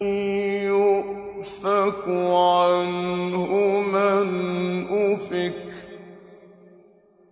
يُؤْفَكُ عَنْهُ مَنْ أُفِكَ